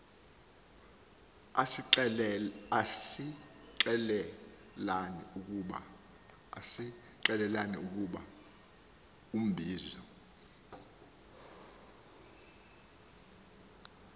asixelela ukuba ubizo